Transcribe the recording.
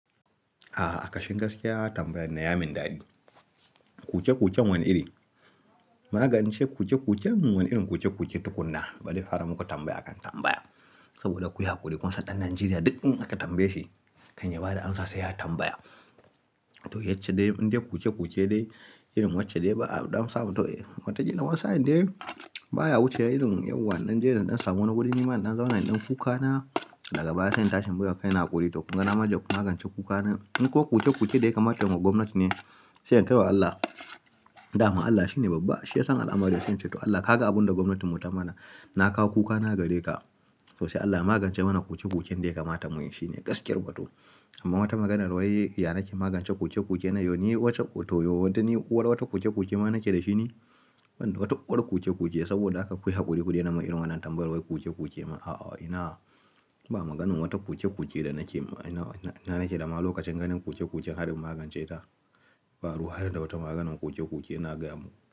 A'a akashi gaskiya tambayan nan ya min dadi. Koke-koken wani iri, maganin ce koce-koken wani irin koke-koke tukuna. Bari fara muku tambaya akan tambaya. Saboda ku yi hakuri kunsa ɗan Najeriya duk in aka tambaye shi kan yabada ansa sai ya tambaya. To yacce dai, in dai koke-koke dai irin wacce dai ba a damsa mu to mataji nan wasa in dai baya wuce irin yawan ɗan jerin ɗan samu na kuɗin niman ɗan zaune ɗin kuka na, daga baya sai in tashi in baiwa kai na haƙuri to kunga namaje kunagance kuka na. In ko koke-koke dai kamaton ma gwamnati ne, sai in kaiwa Allah, dama Allah shine babba shi yasan al'amari sai ce to Allah ka ga abun da gwamnatin mu ta mana, na kawo kuka na gare ka. To sai Allah ya magance mana koke-koken dai kamaton mu. Ya shine gaskiyar batu. Amma wata maganar wai ya nake magance koke-koke na yau ni wacce to yau watanni uwar wata koke-koke ma nake da shi ne? Wanda watan uwar koke-koke saboda aka kuyi hakuri-kuri daina n irin wannan tambayar wai kuce-kuce ma a'a ina ba maganin wata koke-koke da nake ina nake da maluwa kacanganin koke-koke har magance ta. Ba ruwa har da wata maganin kuce-kuce na gamu.